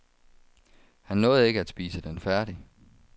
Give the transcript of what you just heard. Han nåede ikke at spise den færdig.